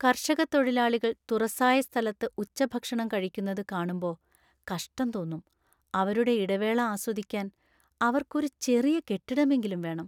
കർഷക തൊഴിലാളികൾ തുറസായ സ്ഥലത്ത് ഉച്ചഭക്ഷണം കഴിക്കുന്നത് കാണുമ്പൊ കഷ്ടം തോന്നും . അവരുടെ ഇടവേള ആസ്വദിക്കാൻ അവർക്ക് ഒരു ചെറിയ കെട്ടിടമെങ്കിലും വേണം.